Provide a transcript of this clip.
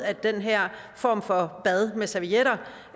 at den her form for bad med servietter